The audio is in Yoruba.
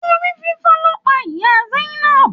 Orí fífọ́ ló pa ìyá Zainab